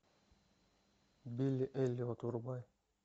билли эллиот врубай